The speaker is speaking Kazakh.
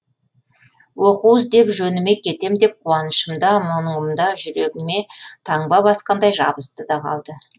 оқу іздеп жөніме кетем деп қуанышымда мұнымда жүрегіме таңба басқандай жабысты да қалды